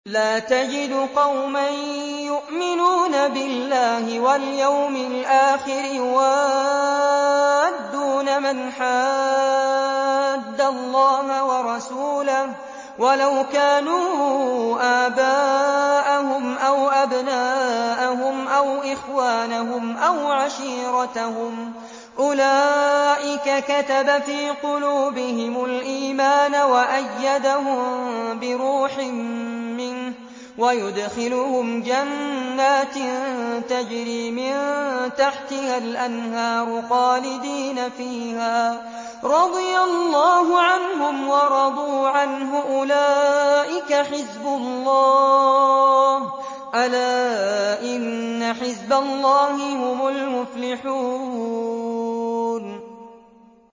لَّا تَجِدُ قَوْمًا يُؤْمِنُونَ بِاللَّهِ وَالْيَوْمِ الْآخِرِ يُوَادُّونَ مَنْ حَادَّ اللَّهَ وَرَسُولَهُ وَلَوْ كَانُوا آبَاءَهُمْ أَوْ أَبْنَاءَهُمْ أَوْ إِخْوَانَهُمْ أَوْ عَشِيرَتَهُمْ ۚ أُولَٰئِكَ كَتَبَ فِي قُلُوبِهِمُ الْإِيمَانَ وَأَيَّدَهُم بِرُوحٍ مِّنْهُ ۖ وَيُدْخِلُهُمْ جَنَّاتٍ تَجْرِي مِن تَحْتِهَا الْأَنْهَارُ خَالِدِينَ فِيهَا ۚ رَضِيَ اللَّهُ عَنْهُمْ وَرَضُوا عَنْهُ ۚ أُولَٰئِكَ حِزْبُ اللَّهِ ۚ أَلَا إِنَّ حِزْبَ اللَّهِ هُمُ الْمُفْلِحُونَ